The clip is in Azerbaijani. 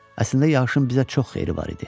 Əslində yağışın bizə çox xeyri var idi.